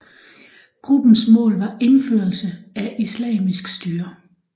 Gruppens mål var indførelse af islamisk styre